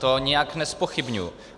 To nijak nezpochybňuji.